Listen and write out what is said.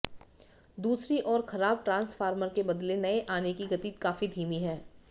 दूसरी ओर खराब ट्रांसफार्मर के बदले नए आने की गति काफी धीमी है